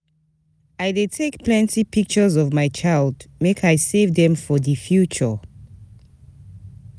I dey take plenty pictures of my child make I save dem for di future.